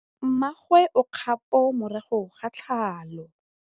Mmagwe o kgapô morago ga tlhalô.